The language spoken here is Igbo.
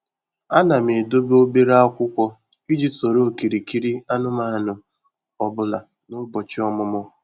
Ana m edobe obere akwụkwọ iji soro okirikiri anụmanụ ọ bụla na ụbọchị ọmụmụ.